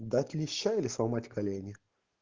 дать леща или сломать колени